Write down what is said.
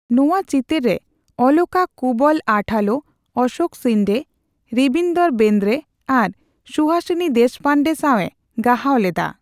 ᱱᱚᱣᱟ ᱪᱤᱛᱟᱹᱨ ᱨᱮ ᱚᱞᱚᱠᱟ ᱠᱩᱵᱚᱞ ᱟᱴᱷᱟᱞᱳ, ᱚᱥᱚᱠ ᱥᱤᱱᱰᱮ, ᱨᱤᱵᱤᱱᱫᱚᱨᱚ ᱵᱮᱨᱫᱮ ᱟᱨ ᱥᱩᱦᱟᱥᱤᱱᱤ ᱫᱮᱥᱯᱟᱱᱰᱮ ᱥᱟᱣ ᱮ ᱜᱟᱦᱟᱣ ᱞᱮᱫᱟ ᱾